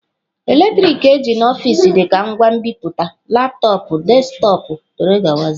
Eletrọnịkị eji n'ọfịs dịka ngwa nbipute, laptọọpụ, desktọpụ wdg.